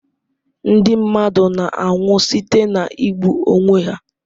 Ndị mmadụ na-anwụ site na igbu onwe ha.